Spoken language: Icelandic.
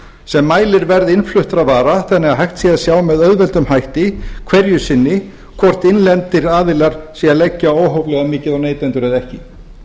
sem mælir verð innfluttra vara þannig að hægt sé að sjá með auðveldum hætti hverju sinni hvort innlendir aðilar séu að leggja óhóflega mikið á neytendur eða ekki